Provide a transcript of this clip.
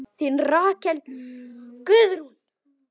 Þín Rakel Guðrún.